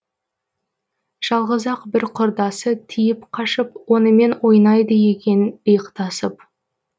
жалғыз ақ бір құрдасы тиіп қашып онымен ойнайды екен иықтасып